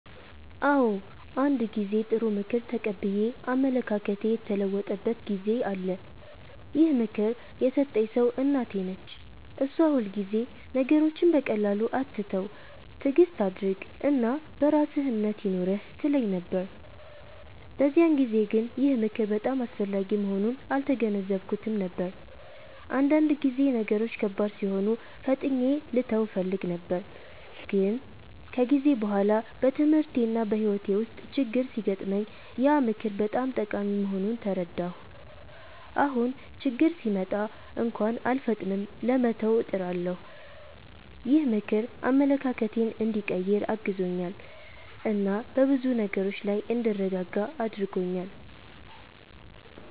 አዎ፣ አንድ ጊዜ ጥሩ ምክር ተቀብዬ አመለካከቴ የተለወጠበት ጊዜ አለ። ይህን ምክር የሰጠኝ ሰው እናቴ ነች። እሷ ሁልጊዜ “ነገሮችን በቀላሉ አትተው፣ ትዕግስት አድርግ እና በራስህ እምነት ይኑርህ” ትለኝ ነበር። በዚያን ጊዜ ግን ይህ ምክር በጣም አስፈላጊ መሆኑን አልተገነዘብኩትም ነበር፤ አንዳንድ ጊዜ ነገሮች ከባድ ሲሆኑ ፈጥኜ ልተው እፈልግ ነበር። ግን ከጊዜ በኋላ በትምህርቴና በሕይወቴ ውስጥ ችግኝ ሲገጥመኝ ያ ምክር በጣም ጠቃሚ መሆኑን ተረዳሁ። አሁን ችግኝ ሲመጣ እንኳን አልፈጥንም ለመተው፣ እጥራለሁ። ይህ ምክር አመለካከቴን እንዲቀይር አግዞኛል እና በብዙ ነገሮች ላይ እንድረጋጋ አድርጎኛል።